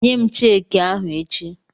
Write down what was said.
Nyem cheeki ahụ echi!